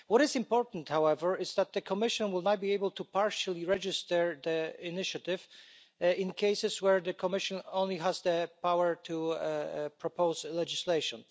What is important, however, is that the Commission will now be able to partially register the initiative in cases where the Commission only has the power to propose legislation.